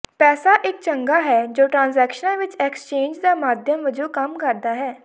ਪੈਸਾ ਇੱਕ ਚੰਗਾ ਹੈ ਜੋ ਟ੍ਰਾਂਜੈਕਸ਼ਨਾਂ ਵਿੱਚ ਐਕਸਚੇਂਜ ਦਾ ਮਾਧਿਅਮ ਵਜੋਂ ਕੰਮ ਕਰਦਾ ਹੈ